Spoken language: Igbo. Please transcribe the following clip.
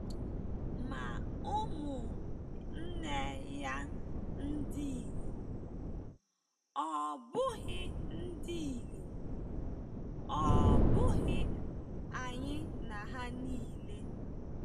Ma umu-nne-ya ndinyom, ọ̀ bughi ndinyom, ọ̀ bughi ayi na ha nile?”